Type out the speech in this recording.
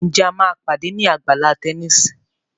Nje a má pàdé ní Àgbàlá Tẹníìsì?